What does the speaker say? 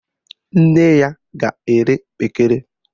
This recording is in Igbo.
Nne ya ga-ere kpekere